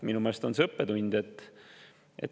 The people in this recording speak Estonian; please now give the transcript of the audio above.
Minu meelest on see õppetund.